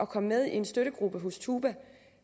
kommer med i en støttegruppe hos tuba